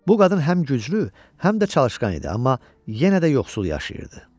Bu qadın həm güclü, həm də çalışqan idi, amma yenə də yoxsul yaşayırdı.